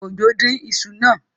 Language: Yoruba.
Ojo dín iṣu náà.